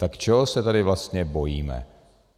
Tak čeho se tady vlastně bojíme?